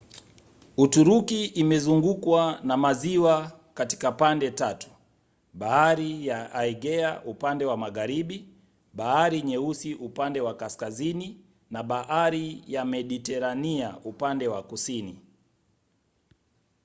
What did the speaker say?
uturuki imezungukwa na maziwa katika pande tatu: bahari ya aegea upande wa magharibi bahari nyeusi upande wa kaskazini na bahari ya mediterania upande wa kusini